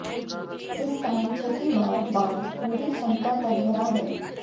इस साल छठी बार बांध पूरी क्षमता तक भरा है